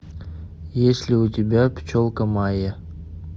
есть ли у тебя пчелка майя